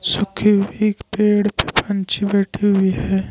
सूखे हुए एक पेड़ पे पंछी बैठी हुई है।